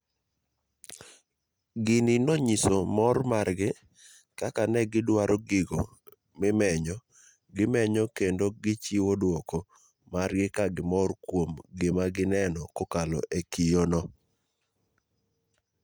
Gini nonyiso nmor margi kaka ne giduaro gigo mimenyo, gimenyo kendo gichiwo duoko margikagimor kuom gima gineno kokalo e kiyoo no.